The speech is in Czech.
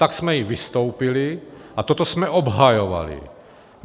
Tak jsme i vystoupili a toto jsme obhajovali.